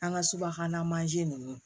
An ka subahana mansin ninnu